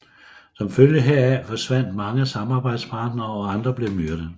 Som følge heraf forsvandt mange samarbejdspartnere og andre blev myrdet